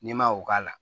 N'i ma o k'a la